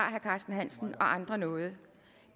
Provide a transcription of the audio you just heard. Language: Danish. herre carsten hansen og andre nu det